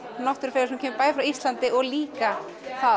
náttúrufegurð sem kemur bæði frá Íslandi og líka